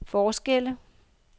forskelle